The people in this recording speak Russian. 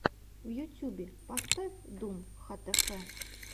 в ютюбе поставь дум хтф